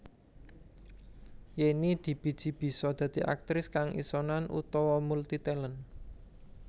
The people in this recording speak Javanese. Yenny dibiji bisa dadi aktris kang isonan utawa multi talent